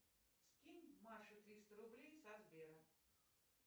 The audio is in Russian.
скинь маше триста рублей со сбера